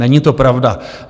Není to pravda.